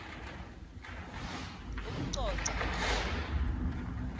ucoca